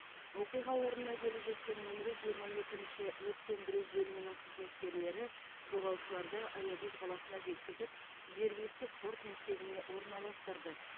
оқиға орнына келіп жеткен нөмірі жиырма екінші өрт сөндіру бөлімінің қызметкерлері жолаушыларды аягөз қаласына жеткізіп жергілікті спорт мектебіне орналастырды